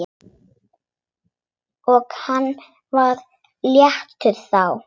Og hann var léttur þá.